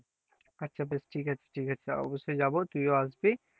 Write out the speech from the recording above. আচ্ছা আচ্ছা বেস্ ঠিক আছে ঠিক আছে অবশ্যই যাবো, তুই ও আসবি,